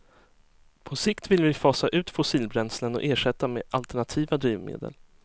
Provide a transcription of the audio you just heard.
På sikt vill vi fasa ut fossilbränslen och ersätta med alternativa drivmedel.